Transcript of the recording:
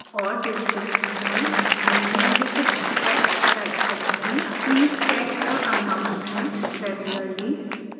और description में मैं निम्नलिखित टैक्स्ट type करूंगी